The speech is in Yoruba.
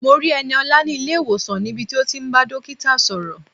Mo rí Ẹniọlá ní ilé-ìwòsàn níbi tí ó ti ń bá dókítà sọ̀rọ̀.